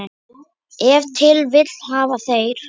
Ef til vill hafa þeir.